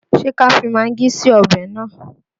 Ṣé kí á fi magí sí ọbẹ̀ náà?